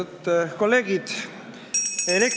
Lugupeetud kolleegid!